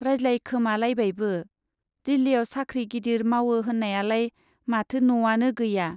रायज्लायखोमालायबायबो, दिल्लीयाव साख्रि गिदिर मावो होन्नायालाय माथो न' आनो गैया ?